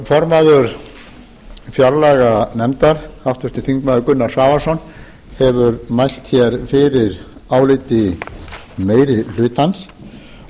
formaður fjárlaganefndar háttvirtir þingmenn gunnar svavarsson hefur mælt hér fyrir áliti meiri hlutans og ég vil